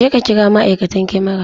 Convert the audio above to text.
Jeka kira ma'aikatan kamara!